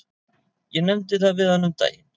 Ég nefndi það við hana um daginn.